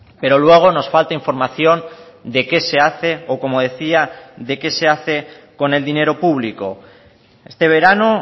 pero luego nos falta información de qué se hace o como decía de qué se hace con el dinero público este verano